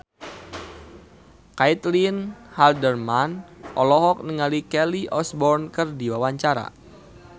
Caitlin Halderman olohok ningali Kelly Osbourne keur diwawancara